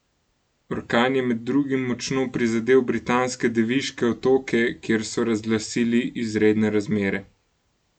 Orkan je med drugim močno prizadel Britanske Deviške otoke, kjer so razglasili izredne razmere.